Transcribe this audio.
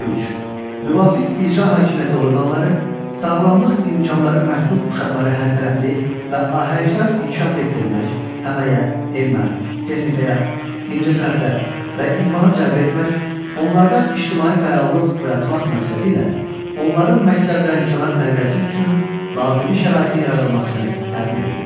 Müvafiq icra hakimiyyəti orqanları sağlamlıq imkanları məhdud uşaqları hərtərəfli və ahəngdar inkişaf etdirmək, əməyə, elmə, texnikaya, incəsənətə və idmana cəlb etmək, onlarda ictimai fəallıq oyatmaq məqsədilə onların məktəbdənkənar tərbiyəsi üçün lazımi şəraitin yaradılmasını təmin edirlər.